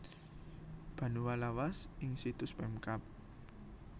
Banua Lawas ing situs Pemkab